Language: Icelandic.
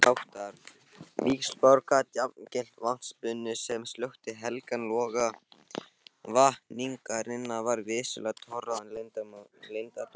Hvernig þessháttar víxlspor gat jafngilt vatnsbunu sem slökkti helgan loga vakningarinnar var vissulega torráðinn leyndardómur.